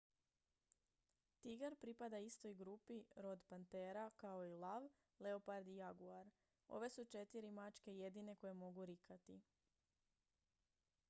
tigar pripada istoj grupi rod pantera kao i lav leopard i jaguar. ove su četiri mačke jedine koje mogu rikati